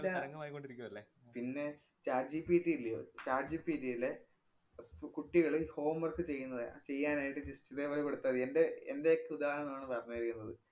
പിന്നേ Chat GPT ഇല്ല്യൊ. char GPT യിലെ അഹ് കു~ കുട്ടികള് home work ചെയ്യുന്നത് ചെയ്യാനായിട്ട് just ഇതേപോലെ കൊടുത്താ മതി. എന്‍റെ എന്‍റെയൊക്കെ ഉദാഹരണമാണ് പറഞ്ഞിരിക്കുന്നത്.